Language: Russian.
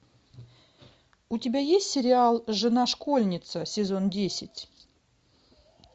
у тебя есть сериал жена школьница сезон десять